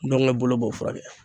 Ntɔngɛ bolo b'o furakɛ